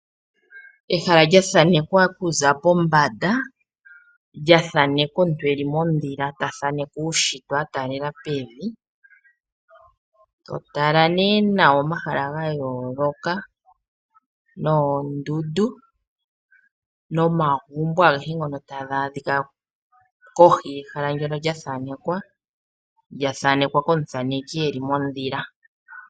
Ehala lya thanekwa kuza pombanda lyathanekwa omuntu eli modhila ta thaneke uushitwe a talela pevi to tala nee nawa omahala gayoloka, noondundu nomagumbo agehe ngono taga adhika kohi yehala ndjono lyathanekwa lyathanekwa komuthaneki eli modhila.